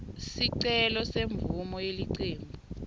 sicelo semvumo yelicembu